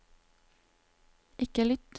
ikke lytt